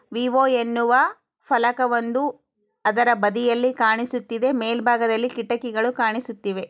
Vivo ಎನ್ನುವ ಫಲಕ ಒಂದು ಅದರ ಬದಿಯಲ್ಲಿ ಕಾಣಿಸುತ್ತಿದೆ ಮೇಲಭಾಗದಲ್ಲಿ ಕಿಟಾಕಿಗಳು ಕಾಣಿಸುತ್ತಿವೆ.